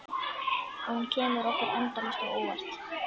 Og hún kemur okkur endalaust á óvart.